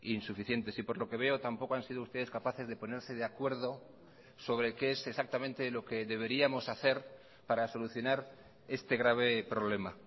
insuficientes y por lo que veo tampoco han sido ustedes capaces de ponerse de acuerdo sobre qué es exactamente lo que deberíamos hacer para solucionar este grave problema